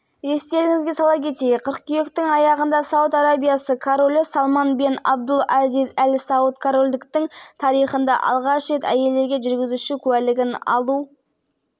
әлемдегі ең консервативті мұсылман елі әйелдерге ресми түрде көлік жүргізуге тыйым салған әлемдегі жалғыз мемлекет болды